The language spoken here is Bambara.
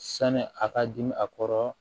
Sani a ka dimi a kɔrɔ